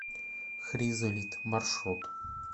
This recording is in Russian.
хризолит маршрут